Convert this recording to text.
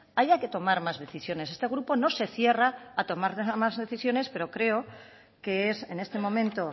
haya que tomar más decisiones este grupo no se cierra a tomar más decisiones pero creo que es en este momento